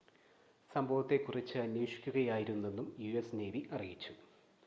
സംഭവത്തെ കുറിച്ച് അന്വേഷിക്കുകയായിരുന്നെന്നും യുഎസ് നേവി അറിയിച്ചു